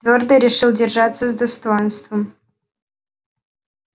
твёрдо решил держаться с достоинством